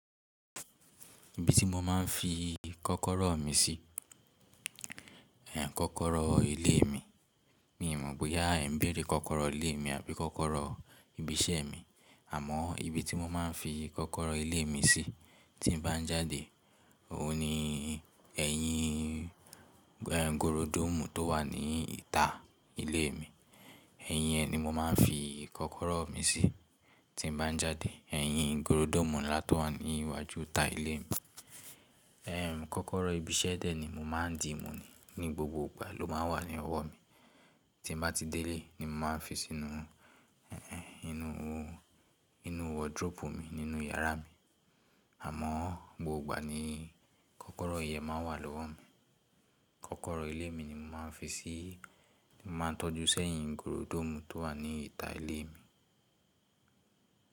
Ibi tí mo máa ń fi kọ́kọ́rọ́ mi sí, kọ́kọ́rọ́ ilé mi. Mi ò mọ̀ bóyá ẹ̀ n béèrè kọ́kọ́rọ́ ilé mi àbí kọ́kọ́rọ́ ibi iṣẹ́ mi. Àmọ́ ibi tí mo máa ń fi kọ́kọ́rọ́ ilé mi sí tí n bá ń jáde, òun ni ẹ̀yìn ehn gorodoomu tó wà ní ìta ilé mi. Ẹ̀yìn ẹ́ ni mo máa ń fi kọ́kọ́rọ́ mi sí tí n bá ń jáde. Ẹ̀yìn gorodoomu ńlá tó wà ní iwájú ìta ilé mi. Ehn, kọ́kọ́rọ́ ibi iṣẹ́ dè ni mo máa ń dii mu ni, ní gbogbo ìgbà ló máa ń wà ní ọwọ́ mi. Tí n bá ti dé ilé ni mo máa fi sínú eh inú, inú wardrobe mi nínú yàrá mi. Àmọ́ gbogbo ìgbà ni kọ́kọ́rọ́ ìyẹ́n máa n wà lọ́wọ́ mi. Kọ́kọ́rọ́ ilé mi ni mo máa ń fi sí, mo máa ń tọ́jú sẹ́yìn gorodoomu tó wà ní ìta ilé mi.